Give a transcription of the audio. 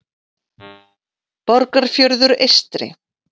Borgarfjörður eystri.